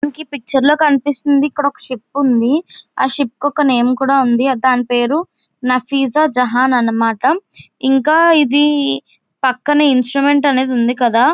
మనకి ఈ పిక్చర్ లో కనిపిస్తుంతుంది ఇక్కడ ఒక్క షిప్ ఉంది ఆ షిప్ కీ ఒక నేమ్ కూడా ఉంది దాని పేరు నఫిజాజహానా అన్నమాట ఇంకా ఇది పక్కన ఇంస్ట్రుమెంట్ అనేది ఉంది కదా --